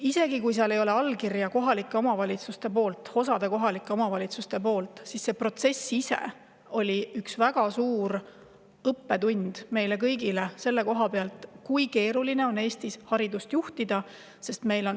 Isegi kui seal ei ole allkirja kohalikelt omavalitsustelt, osalt kohalikelt omavalitsustelt, siis protsess ise oli meile kõigile väga suur õppetund, kui keeruline on Eestis hariduse valdkonda juhtida.